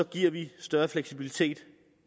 giver vi det større fleksibilitet set